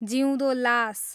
जिउँदो लास